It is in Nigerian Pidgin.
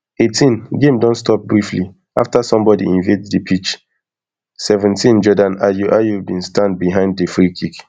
eighteengame don stop briefly afta somebodi invade di pitch seventeenjordan ayew ayew bin stand behind di freekick